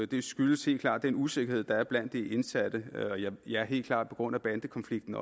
det skyldes helt klart den usikkerhed der er blandt de indsatte helt klart på grund af bandekonflikten